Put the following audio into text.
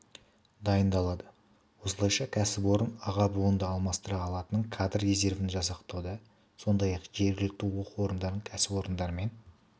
дайындалады осылайша кәсіпорын аға буынды алмастыра алатын кадр резервін жасақтауда сондай-ақ жергілікті оқу орындары кәсіпорындармен